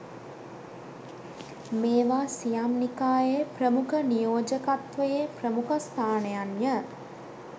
මේවා සියම් නිකායේ ප්‍රමුඛ නියෝජකත්වයේ ප්‍රමුඛස්ථානයන් ය.